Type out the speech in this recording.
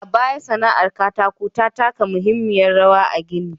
A baya, sana'ar aikin katako ta taka muhimmiyar rawar a gini.